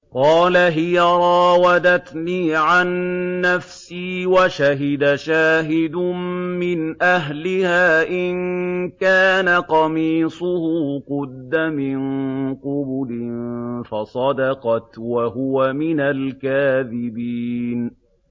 قَالَ هِيَ رَاوَدَتْنِي عَن نَّفْسِي ۚ وَشَهِدَ شَاهِدٌ مِّنْ أَهْلِهَا إِن كَانَ قَمِيصُهُ قُدَّ مِن قُبُلٍ فَصَدَقَتْ وَهُوَ مِنَ الْكَاذِبِينَ